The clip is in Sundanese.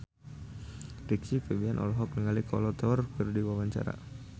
Rizky Febian olohok ningali Kolo Taure keur diwawancara